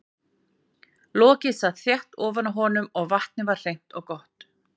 Lokið sat þétt ofan á honum og vatnið var hreint og gott.